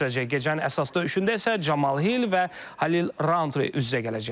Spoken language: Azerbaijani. Gecənin əsas döyüşündə isə Camal Hil və Halil Rountre üz-üzə gələcək.